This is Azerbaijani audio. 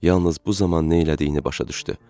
Yalnız bu zaman nə elədiyini başa düşdü